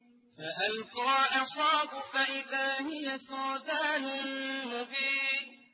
فَأَلْقَىٰ عَصَاهُ فَإِذَا هِيَ ثُعْبَانٌ مُّبِينٌ